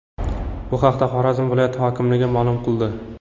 Bu haqda Xorazm viloyati hokimligi ma’lum qildi .